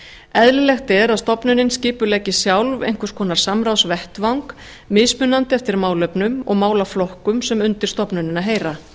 eðlilegt er að stofnunin skipuleggi sjálf einhvers konar samráðsvettvang mismunandi eftir málefnum og málaflokkum sem undir stofnunina heyra